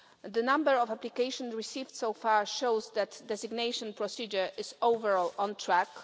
The number of applications received so far shows that the designation procedure is overall on track.